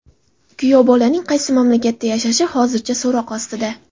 Kuyovbolaning qaysi mamlakatda yashashi hozircha so‘roq ostida.